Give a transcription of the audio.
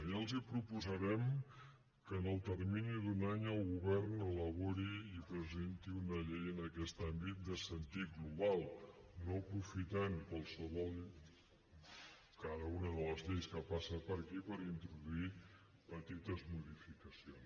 ja els proposarem que en el termini d’un any el govern elabori i presenti una llei en aquest àmbit de sentit global no aprofitant cada una de les lleis que passa per aquí per introduir petites modificacions